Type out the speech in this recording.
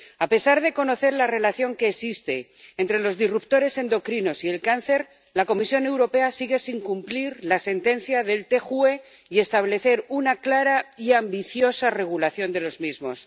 A pesar de conocer la relación que existe entre los disruptores endocrinos y el cáncer, la Comisión Europea sigue sin cumplir la sentencia del Tribunal de Justicia de la Unión Europea y establecer una clara y ambiciosa regulación de los mismos.